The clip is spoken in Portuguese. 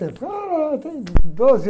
tempo. Ah, tem doze